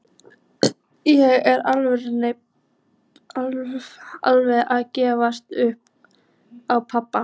Ég er alveg að gefast upp á pabba.